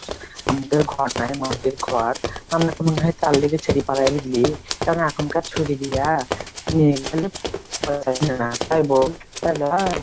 আমাদের ঘর নাই মাটির ঘর আমার তো মনে হয় তারলেগে ছেড়ে পালায় বুঝলি কারন এখনকার ছুড়ি গুলা লই বোল তাই লই?